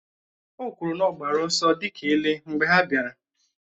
O kwụrụ na ọ gbara ọsọ dị ka ele mgbe ha bịara.